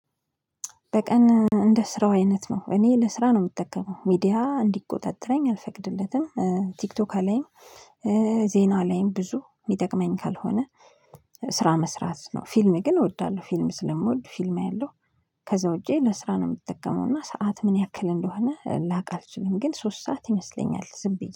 በቀን እንደ ስራው አይነት ነው እኔ ለስራ ነው የምጠቀመው ሚዲያ እንዲቆጣጠረኝ አልፈቅድለትም ቲክቶክ አለኝ፣ ዜና ላይም ብዙ የሚጠቅመኝ ካልሆነ ስራ መስራት ነው፣ ፊልም ግን እወዳለሁ ፊልም ስለምወድ ፊልም አያለው ከዛ ውጪ ለስራ ነው የምትጠቀመው እና ሰዓት ምን ያክል እንደሆነ ላቅ አልችልም ግን ሶስት ሰዓት ይመስለኛል ዝም ብዬ።